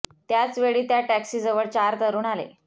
त्याच वेळी त्या टॅक्सी जवळ चार तरुण आले